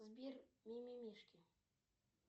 сбер мимимишки